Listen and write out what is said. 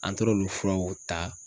An taar'olu furaw ta.